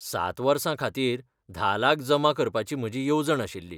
सात वर्सां खातीर धा लाख जमा करपाची म्हजी येवजण आशिल्ली.